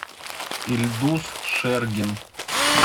ильдус шергин